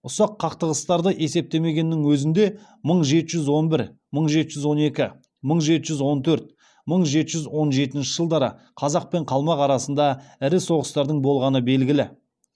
ұсақ қақтығыстарды есептемегеннің өзінде мың жеті жүз он бір мың жеті жүз он екі мың жеті жүз он төрт мың жеті жүз он жетінші жылдары қазақ пен қалмақ арасында ірі соғыстардың болғаны белгілі